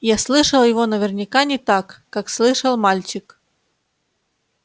я слышал его наверняка не так как слышал мальчик